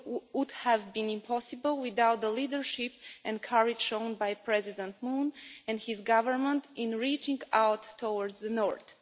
would have been impossible without the leadership and courage shown by President Moon and his government in reaching out towards the north.